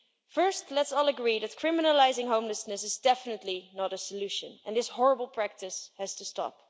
First, let's all agree that criminalising homelessness is definitely not a solution and this horrible practice has to stop.